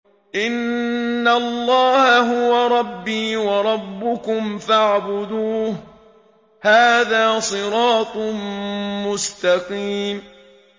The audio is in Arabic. إِنَّ اللَّهَ هُوَ رَبِّي وَرَبُّكُمْ فَاعْبُدُوهُ ۚ هَٰذَا صِرَاطٌ مُّسْتَقِيمٌ